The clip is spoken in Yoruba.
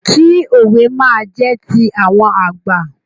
Kí òwe máa jẹ́ ti àwọn àgbà.